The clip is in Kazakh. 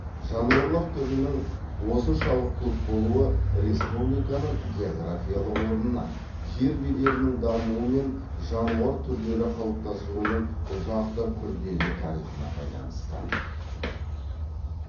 жануарлар түрінің осыншалық көп болуы республиканың географиялық орнына жер бедерінің дамуы мен жануар түрлері қалыптасуының ұзақ та күрделі тарихына байланысты